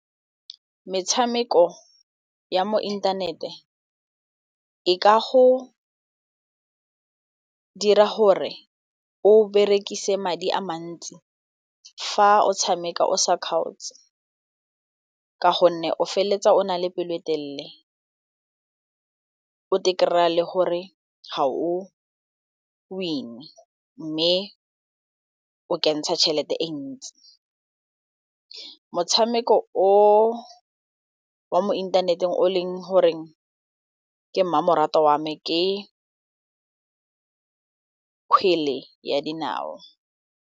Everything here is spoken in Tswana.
Metshameko ya mo inthanete e ka go dira gore o berekise madi a mantsi fa o tshameka o sa kgaotse ka gonne o feleletsa o na le pelo etelele o kry-a le gore ga o win-e mme o kentsha tšhelete e ntsi, motshameko o wa mo inthaneteng o leng goreng ke mmamoratwa wame ke ka kgwele ya dinao.